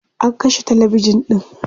an kashe talabijan ɗin